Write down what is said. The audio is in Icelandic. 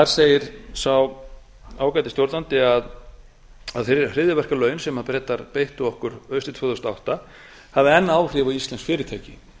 segir sá ágæti stjórnandi að hryðjuverkalögin sem bretar beittu okkur haustið tvö þúsund og átta hafi enn áhrif á íslensk fyrirtæki